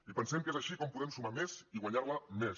i pensem que és així com podem sumar més i guanyar la més